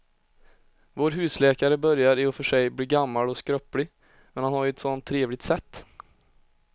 Vår husläkare börjar i och för sig bli gammal och skröplig, men han har ju ett sådant trevligt sätt!